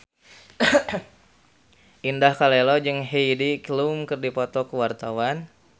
Indah Kalalo jeung Heidi Klum keur dipoto ku wartawan